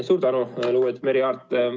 Suur tänu, lugupeetud Merry Aart!